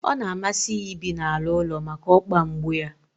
Ọ na amasi ya ibi n'ala ụlọ maka okpa mgbu yá